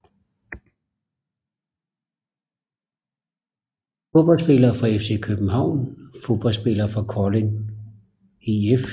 Fodboldspillere fra FC København Fodboldspillere fra Kolding IF